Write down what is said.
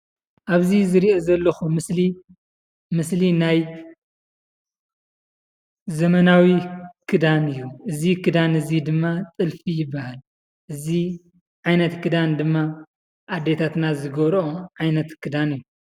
ኣብዚ ዝሪኦ ዘለኩ ምስሊ፣ ምስሊ ናይ ዘመናዊ ክዳን እዩ። እዚ ክዳን እዚ ድማ ጥልፊ ይባሃል። እዚ ዓይነት ክዳን ድማ ኣዴታትና ዝገብረኦ ዓይነት ክዳን እዩ።